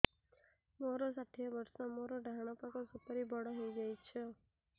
ମୋର ଷାଠିଏ ବର୍ଷ ମୋର ଡାହାଣ ପାଖ ସୁପାରୀ ବଡ ହୈ ଯାଇଛ